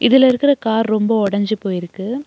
இதுல இருக்குற கார் ரொம்ப ஒடஞ்சி போய் இருக்கு.